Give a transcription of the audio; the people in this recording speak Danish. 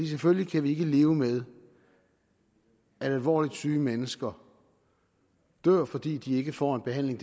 selvfølgelig ikke leve med at alvorligt syge mennesker dør fordi de ikke får en behandling